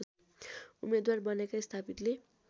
उम्मेदवार बनेका स्थापितले